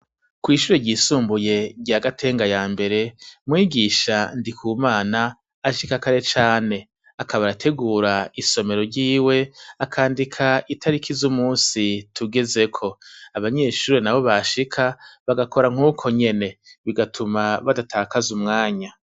Kw'ishure ryisumbuye rya Gatenga ya mbere mwigisha Ndikumana ashika kare cane akaba arategura isomero ryiwe, akandika itariki z'umunsi tugeze ko. Abanyeshuri nabo bashika, bagakora nk'uko nyene; bigatuma badatakaza umwanya.